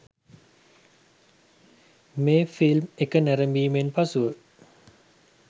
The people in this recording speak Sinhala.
මේ ෆිල්ම් එක නැරඹීමෙන් පසුව